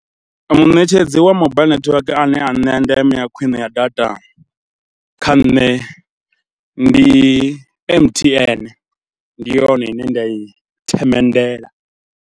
Muṋetshedzi wa mobaiḽi netiweke ane a nṋea ndeme ya khwine ya data kha nṋe ndi M_T_N, ndi yone ine nda i themendela.